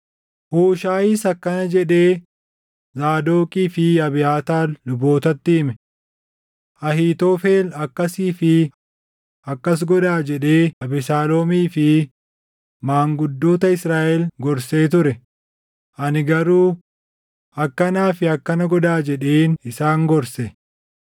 Huushaayiis akkana jedhee Zaadoqii fi Abiyaataar lubootatti hime; “Ahiitofel, ‘Akkasii fi akkas godhaa’ jedhee Abesaaloomii fi maanguddoota Israaʼel gorsee ture; ani garuu, ‘Akkanaa fi akkana godhaa’ jedheen isaan gorse.